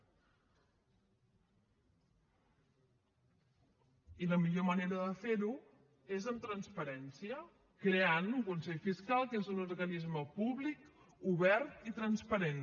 i la millor manera de fer ho és amb transparència creant un consell fiscal que és un organisme públic obert i transparent